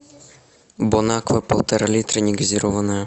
бон аква полтора литра негазированная